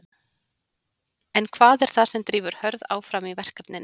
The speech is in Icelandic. En hvað er það sem drífur Hörð áfram í verkefninu?